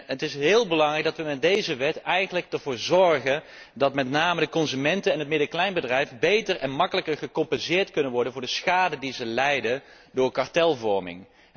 Het is heel belangrijk dat wij er in deze wet voor zorgen dat met name de consumenten en het midden en kleinbedrijf beter en gemakkelijker gecompenseerd kunnen worden voor de schade die zij lijden door kartelvorming.